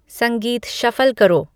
संगीत शफ़ल करो